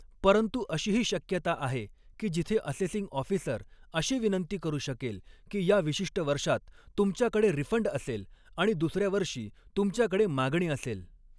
परंतु अशीही शक्यता आहे की जिथे असेसिंग ऑफिसर अशी विनंती करू शकेल की या विशिष्ट वर्षात तुमच्याकडे रिफंड असेल आणि दुसऱ्या वर्षी तुमच्याकडे मागणी असेल.